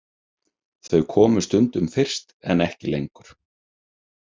Þau komu stundum fyrst en ekki lengur.